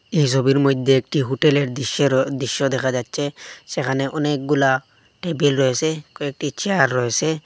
এই সবির মইদ্যে একটি হোটেলের দিশ্যের দিশ্য দেখা যাচ্চে সেখানে অনেকগুলা টেবিল রয়েসে কয়েকটি চেয়ার রয়েসে।